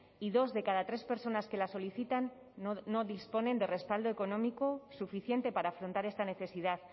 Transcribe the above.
y dos de cada tres personas que la solicitan no disponen de respaldo económico suficiente para afrontar esta necesidad